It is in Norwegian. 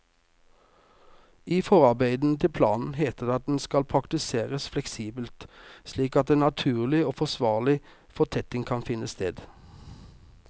I forarbeidene til planen heter det at den skal praktiseres fleksibelt, slik at en naturlig og forsvarlig fortetting kan finne sted.